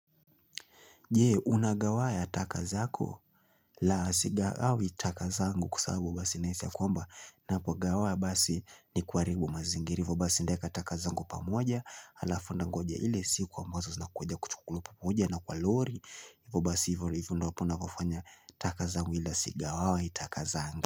Jee unagawaya takazako la sigaawi takazangu kwa sababu basi naisi ya kwamba napo gawa basi ni kuaribu mazingira hivo basi ndeeka taka zangu pamoja alafu ndangoja ile siku amazo zinakuja kuchukuliwa pamoja na kwa lori Vobasi hivyo ndo wapo navofanya takazangu ila sigaawi takazangu.